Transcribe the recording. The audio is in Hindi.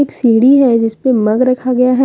एक सीढ़ी है जिसपे मग रखा गया है।